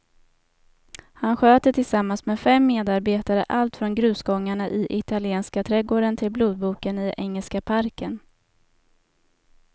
Han sköter tillsammans med fem medarbetare allt från grusgångarna i italienska trädgården till blodboken i engelska parken.